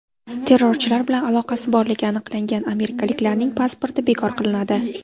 Terrorchilar bilan aloqasi borligi aniqlangan amerikaliklarning pasporti bekor qilinadi.